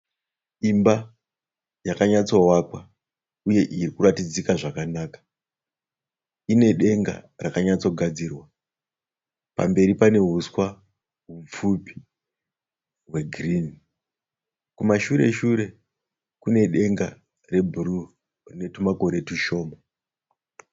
Imba yakanyatsovakwa uye iri kuratidzika zvakanaka. Ine denga rakanyatsogadzirwa. Pamberi pane huswa hupfupi hwegirinhi. Kumashure shure kune denga rwebhuruu rine tumakore tushoma.